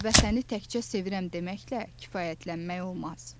Vətəni təkcə sevirəm deməklə kifayətlənmək olmaz.